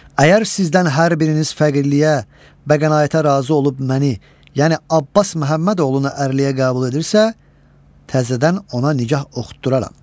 Əgər sizdən hər biriniz fəqirliyə, bəqənaətə razı olub məni, yəni Abbas Məhəmmədoğlunu ərləyə qəbul edirsə, təzədən ona nigah oxutduraram.